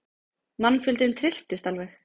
Mannfjöldinn trylltist alveg.